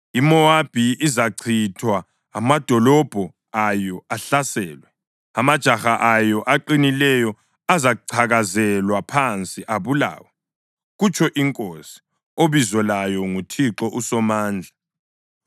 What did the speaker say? IMowabi izachithwa, amadolobho ayo ahlaselwe; amajaha ayo aqinileyo azacakazelwa phansi abulawe,” kutsho iNkosi, obizo layo nguThixo uSomandla.